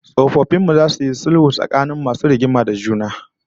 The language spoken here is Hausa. Tsofaffin mu zasu yi sulhu tsakanin masu rigima da juna